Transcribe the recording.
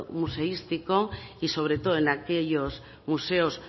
museístico y sobre todo en aquellos museos